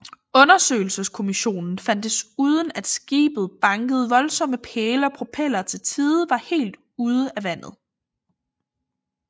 Undersøgelseskommissionen fandt desuden at skibet bankede voldsomme pæle og propellerne til tider var helt ude af vandet